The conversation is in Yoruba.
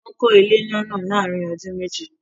Wọ́n kó ilé ńlá náà láàrin ọdún meji